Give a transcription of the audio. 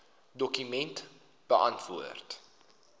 dokument beantwoord